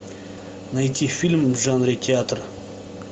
найти фильм в жанре театр